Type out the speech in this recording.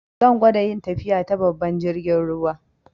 Zan gwada yin tafiya ta babban jirgin ruwa.